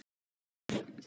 Kæri Dagur.